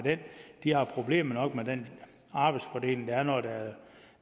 de har problemer nok med den arbejdsfordeling der er når der